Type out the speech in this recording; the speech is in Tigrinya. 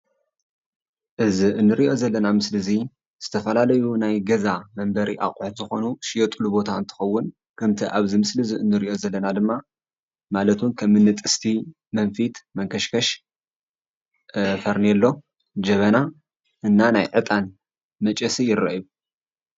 እዚ እንርእዮ ዘለና ምስሊ እዚ ዝተፈላለዩ ናይ ገዛ መንበሪ ኣቁሑት ዝኾኑ ዝሽየትሉ ቦታ እንትኸውን ከምቲ ኣብዚ ምስሊ እንርእዮ ዘለና ድማ ማለትእውን ከም እን ጥስቲ መንፊት መንከሽከሽ ፈርኔሎ ጀበና እና እታን መጨሲ ይረአዩ።